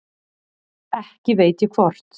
Ekki veit ég hvort